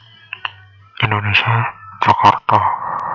Indonesia Jakarta